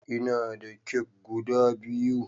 Ina da kek guda biyu